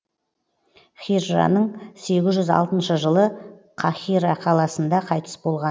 хижраның сегіз жүз алтыншы жылы қаһира қаласында қайтыс болған